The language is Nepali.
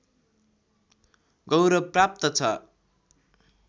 गौरव प्राप्त छ